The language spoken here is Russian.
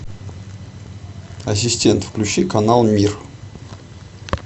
ассистент включи канал мир